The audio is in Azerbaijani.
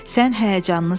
Sən həyəcanlısan.